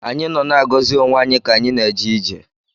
Anyị nọ na-agọzi onwe anyị ka anyị na-eje ije